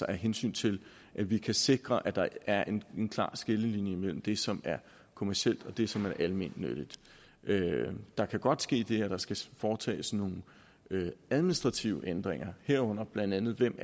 af hensyn til at vi kan sikre at der er en klar skillelinje mellem det som er kommercielt og det som er almennyttigt der kan godt ske det at der skal foretages nogle administrative ændringer herunder blandt andet hvem